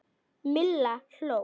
Milla hló.